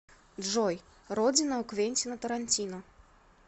джой родина у квентина тарантино